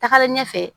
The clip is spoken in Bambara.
Tagalen ɲɛfɛ